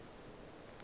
e be e le ge